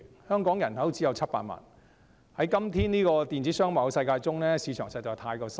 香港人口只有700萬，在現今電子商貿的世界中，市場實在太小。